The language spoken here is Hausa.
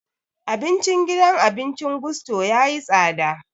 Abincin gidan abincin Gusto ya yi tsada